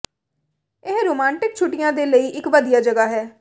ਇਹ ਰੋਮਾਂਟਿਕ ਛੁੱਟੀਆਂ ਦੇ ਲਈ ਇੱਕ ਵਧੀਆ ਜਗ੍ਹਾ ਹੈ